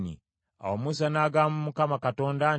Awo Musa n’agamba Mukama Katonda nti,